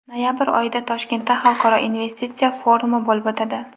Noyabr oyida Toshkentda Xalqaro investitsiya forumi bo‘lib o‘tadi.